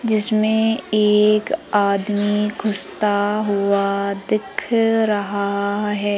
जिसमें एक आदमी घुसता हुआ दिख रहा है।